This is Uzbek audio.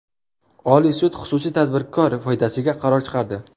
Oliy sud xususiy tadbirkor foydasiga qaror chiqardi.